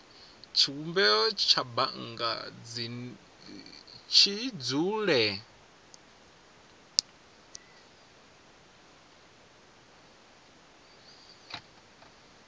tshivhumbeo tsha bannga tshi dzule